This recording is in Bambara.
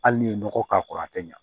Hali n'i ye nɔgɔ k'a kɔrɔ a tɛ ɲa